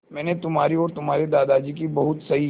मैंने तुम्हारी और तुम्हारे दादाजी की बहुत सही